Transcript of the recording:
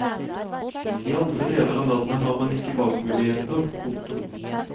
I andre deler av landet har man ikke valgmuligheter. punktum